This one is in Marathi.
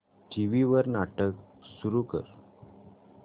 टीव्ही वर नाटक सुरू कर